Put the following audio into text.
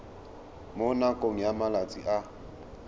mo nakong ya malatsi a